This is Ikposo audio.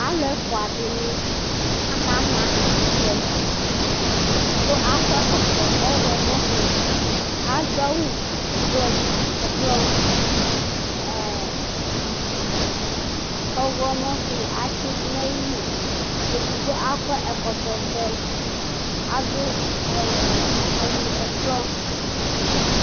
Alu ɛfʋa dìní aka ma ɛkutɛ Ɛdigbo akɔ ɛkɔtɔ ɔwlɔmɔ su, adu awu ɛblɔ, ɔwlɔmɔ su atsi du nʋ ayìlí Ɛdigbo akɔ ɛkɔtɔ vɛ, adu awu ɛblɔ